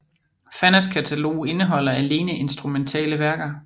Fannas katalog indeholder alene instrumentale værker